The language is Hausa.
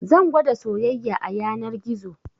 Zan gwada soyayya a yanar gizo